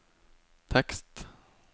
tekst